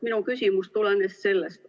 Minu küsimus tulenes sellest.